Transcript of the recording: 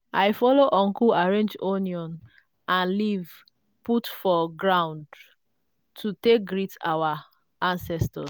i follow uncle arrange onion and leaf put for ground to take greet our ancestors.